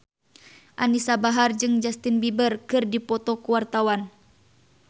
Anisa Bahar jeung Justin Beiber keur dipoto ku wartawan